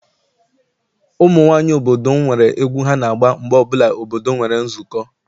Ụmụ nwaanyị obodo m nwere egwu ha na-agba mgbe ọbụla obodo nwere nzukọ.